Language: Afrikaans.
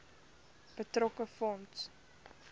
betrokke fonds